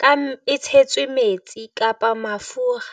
ka e tshetswe metsi kapa mafura.